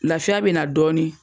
Lafiya bɛna na dɔɔni.